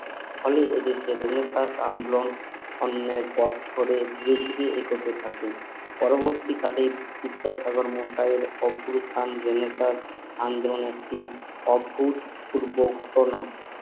ফলে এ দেশের রেনেসাঁস আন্দোলন অন্যায়ের পথ ধরে ধীরে ধীরে এগোতে থাকে পরবর্তী কালে বিদ্যাসাগর মশাইয়ের রেনেসাঁস আন্দোলন একটি অভূত পূর্বক ঘটনা